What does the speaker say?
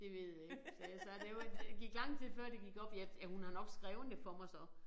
Det ved jeg ikke sagde jeg så det var det gik lang tid før det gik op ja ja hun har nok skrevet det for mig så